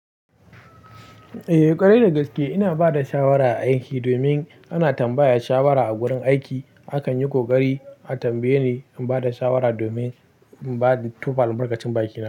Eh, ƙwarai da gaske ina bada shawara a aiki, domin ana tambaya shawara a gurin aiki. Akan yi ƙoƙari a tambaye, ni bada shawara domin in ba da tofa albarkacin baki na.